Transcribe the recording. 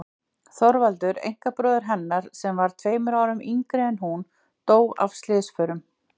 Þorvaldur einkabróðir hennar, sem var tveimur árum yngri en hún, dó af slysförum.